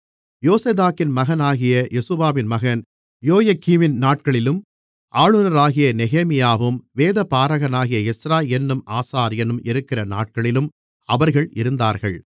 யோசதாக்கின் மகனாகிய யெசுவாவின் மகன் யொயகீமின் நாட்களிலும் ஆளுநராகிய நெகேமியாவும் வேதபாரகனாகிய எஸ்றா என்னும் ஆசாரியனும் இருக்கிற நாட்களிலும் அவர்கள் இருந்தார்கள்